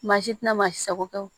Maa si tɛna maa si sago kɛ wo